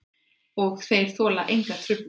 Og þeir þola enga truflun.